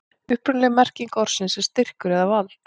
upprunaleg merking orðsins er styrkur eða vald